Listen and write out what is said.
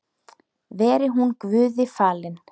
Veri hún Guði falin.